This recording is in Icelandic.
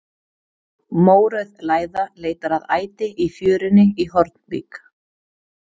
Mórauð læða leitar að æti í fjörunni í Hornvík.